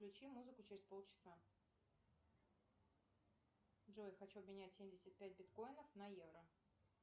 включи музыку через полчаса джой хочу обменять семьдесят пять биткоинов на евро